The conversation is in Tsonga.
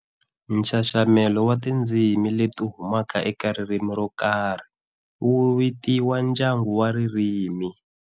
Nxaxamelo wa tindzimi leti humaka eka ririmi rokarhi wuvitiwa ndyangu wa ririmi.